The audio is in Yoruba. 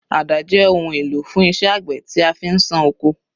Àdá jẹ́ ohun èlò fún iṣẹ́ àgbẹ̀ tí a fi ń ṣán oko.